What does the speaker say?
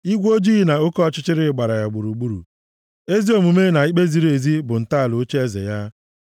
Igwe ojii na oke ọchịchịrị gbara ya gburugburu; ezi omume na ikpe ziri ezi bụ ntọala ocheeze ya.